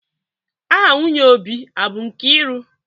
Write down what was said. Aha nwunye Obi abụ Nkiru?